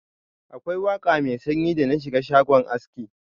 Akwai waka mai sanyi da na shiga shago aski.